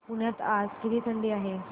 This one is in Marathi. पुण्यात आज किती थंडी आहे